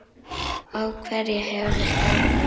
Á hverja hefur þetta áhrif?